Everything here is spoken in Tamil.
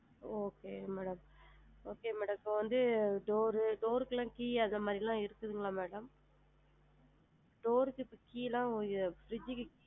Okay mam, okay madam இப்ப வந்து door, door ருக்குளா key அந்த மாதிரிலா இருக்குங்களா madam door ருக்கு key லா fridge.